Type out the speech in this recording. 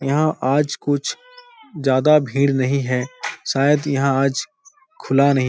यहाँ आज कुछ ज्यादा भीड़ नहीं है। शायद यहाँ आज खुला नहीं --